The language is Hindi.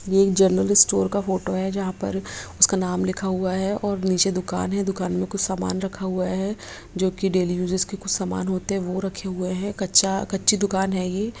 ये एक जेनरल स्टोर का फोटो है जहाँ पर उसका नाम लिखा हुआ है और ननीचे दूकान है दूकान में कुछ समान रखा हुआ है जो की डेली यूज़ के कुछ समान होते है वो रखे हुए है कच्चा कच्ची दूकान है ये--